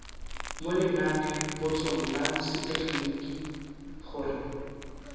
mo lenanepotsong la setegeniki gore